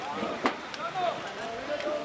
Hə, hə, qaç, qaç.